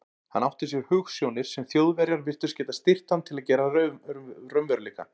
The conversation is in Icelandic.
Hann átti sér hugsjónir, sem Þjóðverjar virtust geta styrkt hann til að gera að raunveruleika.